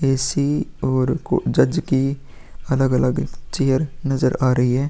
AC. और जज की अलग-अलग चेयर नजर आ रही है।